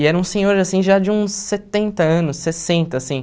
E era um senhor, assim, já de uns setenta anos, sessenta, assim.